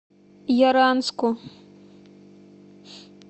яранску